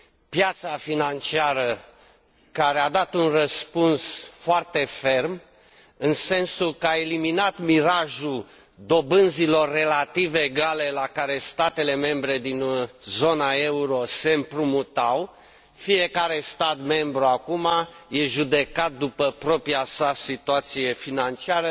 Piața financiară care a dat un răspuns foarte ferm, în sensul că a eliminat mirajul dobânzilor relativ egale la care statele membre din zona euro se împrumutau. Fiecare stat membru acum este judecat după propria sa situație financiară